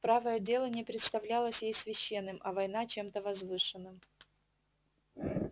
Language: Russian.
правое дело не представлялось ей священным а война чем-то возвышенным